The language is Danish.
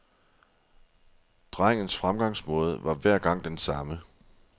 Drengens fremgangsmåde var hver gang den samme.